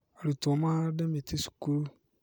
Arutwo mahande mĩtĩ cukuru